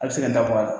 A bɛ se ka n'a bɔ a la